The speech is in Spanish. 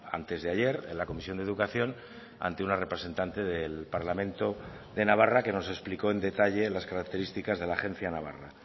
antes de ayer en la comisión de educación ante una representante del parlamento de navarra que nos explicó en detalle las características de la agencia navarra